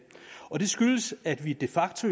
skyldes at vi de facto